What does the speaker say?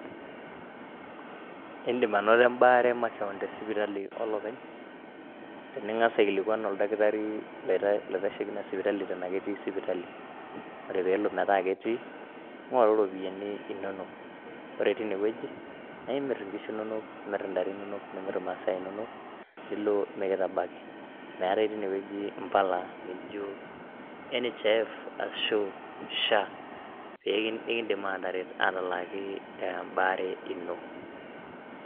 Indiim anoto imbaa are makeon te sipitali e olopeny, tiningas aikilikuan oldakitari loitasheki ina sipitali eton ana ketii sipitali ,ore piilo meta ketii ng'oru iropiyiani inonok, ore teine weji na imiir inkishu inonok, imir ntare inonok nimir masaa inonok nilo mikitabaki, meatai teine weji impala naaijo NHIF ashu SHA nikiindim aateret ataaki embaare ino.